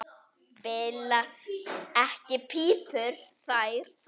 Bila ekki pípur þar.